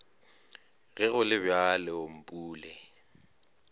ge go le bjalo mpule